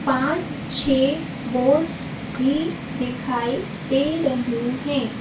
पांच-छह boats भी दिखाई दे रहे हैं।